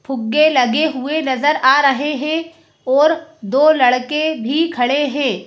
फुक्के लगे हुए नजर आ रहे हैं और दो लड़के भी खड़े हैं।